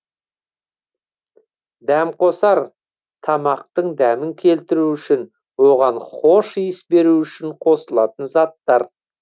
дәмқосар тамақтың дәмін келтіру үшін оған хош иіс беру үшін қосылатын заттар